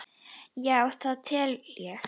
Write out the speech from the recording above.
Já, það tel ég.